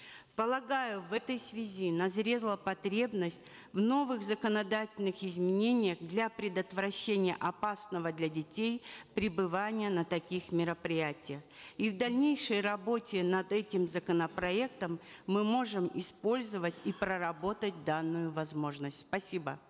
полагаю в этой связи назрела потребность в новых законодательных изменениях для предотвращения опасного для детей пребывания на таких мероприятиях и в дальнейшей работе над этим законопроектом мы можем использовать и проработать данную возможность спасибо